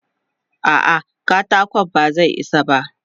A'a, katakon ba zai isa ba.